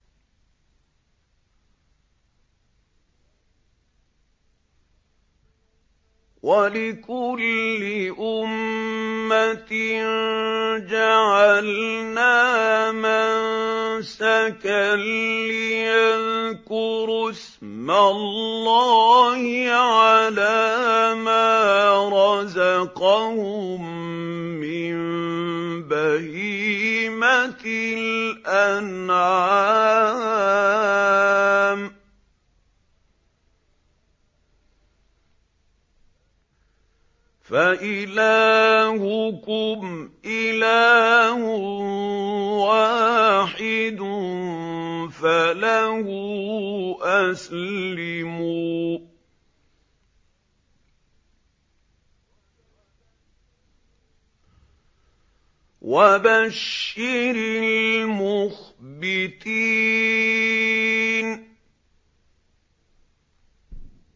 وَلِكُلِّ أُمَّةٍ جَعَلْنَا مَنسَكًا لِّيَذْكُرُوا اسْمَ اللَّهِ عَلَىٰ مَا رَزَقَهُم مِّن بَهِيمَةِ الْأَنْعَامِ ۗ فَإِلَٰهُكُمْ إِلَٰهٌ وَاحِدٌ فَلَهُ أَسْلِمُوا ۗ وَبَشِّرِ الْمُخْبِتِينَ